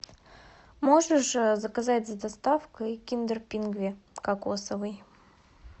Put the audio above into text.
можешь заказать с доставкой киндер пингви кокосовый